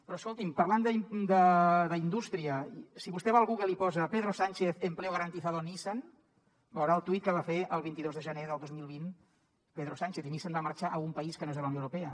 però escolti’m parlant d’indústria si vostè va al google i hi posa pedro sánchez empleo garantizado nissan veurà el tuit que va fer el vint dos de gener del dos mil vint pedro sánchez i nissan va marxar a un país que no és a la unió europea